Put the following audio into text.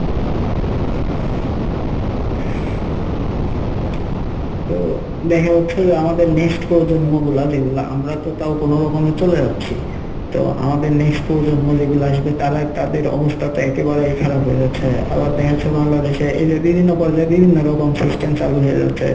তো দেখা যাচ্ছে যে আমাদের next প্রজন্ম গুলা যেগুলা আমরা তো তাও কোনোরকমে চলে যাচ্ছি তো আমাদের next প্রজন্ম যেগুলা আসবে তারা তাদের অবস্থা তো একেবারেই খারাপ হয়ে যাচ্ছে আবার দেখা যাচ্ছে বাংলাদেশে এইযে বিভিন্ন পর্যায়ে বিভিন্ন রকম system চালু হয়ে যাচ্ছে